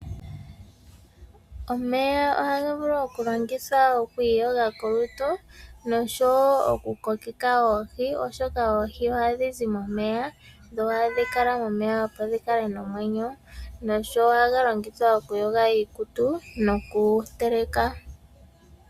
Omeya ohaga vulu okulongithwa oku iyoga kolutu nosho wo okukokeka oohi oshoka oohi ohadhi zi momeya dho ohadhi kala momeya opo dhi kale nomwenyo nosho wo ohaga longithwa okuyoga iikutu nokuteleka.